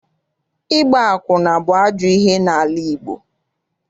Ịgba akwụna bụ ajọ ihe n'ala Igbo.